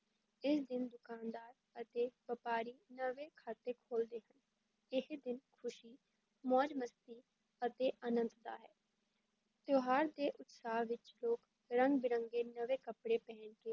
ਇਸ ਦਿਨ ਦੁਕਾਨਦਾਰ ਅਤੇ ਵਪਾਰੀ ਨਵੇਂ ਖਾਤੇ ਖੋਲ੍ਹਦੇ ਹਨ, ਇਹ ਦਿਨ ਖੁਸ਼ੀ, ਮੌਜ-ਮਸਤੀ ਅਤੇ ਅਨੰਦ ਦਾ ਹੈ, ਤਿਉਹਾਰ ਦੇ ਉਤਸ਼ਾਹ ਵਿੱਚ ਲੋਕ ਰੰਗ-ਬਿਰੰਗੇ ਨਵੇਂ ਕੱਪੜੇ ਪਹਿਨ ਕੇ